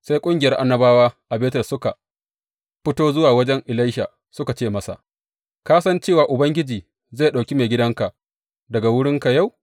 Sai ƙungiyar annabawa a Betel suka fito zuwa wajen Elisha suka ce masa, Ka san cewa Ubangiji zai ɗauki maigidanka daga wurinka yau?